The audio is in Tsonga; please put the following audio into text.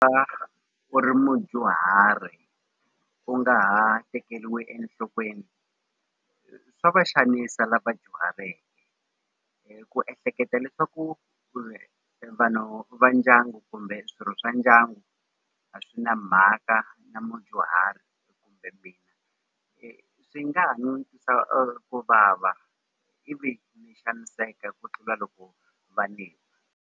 u ri mudyuhari u nga ha tekeriwi enhlokweni swa va xanisa lava dyuhaleke hi ku ehleketa leswaku vanhu va ndyangu kumbe swirho swa ndyangu a swi na mhaka na mudyuhari swi nga ha no ni twisa ku vava ivi ni xaniseka ku tlula loko va ni.